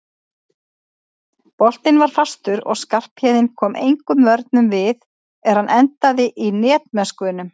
Boltinn var fastur og Skarphéðinn kom engum vörnum við er hann endaði í netmöskvunum.